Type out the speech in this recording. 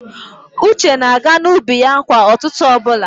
Uche na-aga n'ubi ya kwa ụtụtụ ọbụla.